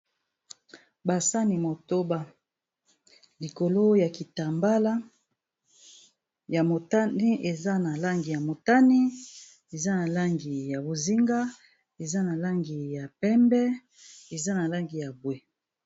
Ba sani motoba likolo ya kitambala ya motani eza na langi ya motani eza na langi ya bozinga eza na langi ya pembe eza na langi ya bwe.